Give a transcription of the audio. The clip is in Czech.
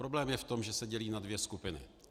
Problém je v tom, že se dělí na dvě skupiny.